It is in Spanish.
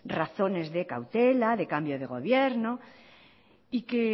razones de cautela de cambio de gobierno